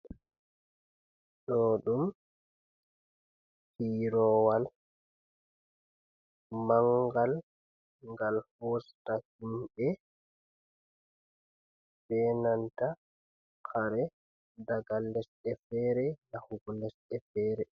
Ɗo ɗum firoowal mangal, ngal hosta himɓe be nanta kare daga lesdi feere yahugo lesdi feere.